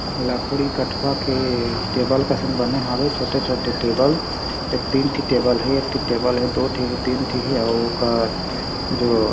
लकड़ी कटवा के टेबल कसन बने हावे छोटे-छोटे टेबल ए तीन ठी टेबल हे एक ठी टेबल है दो ठी तीन ठी हे अउ का जो--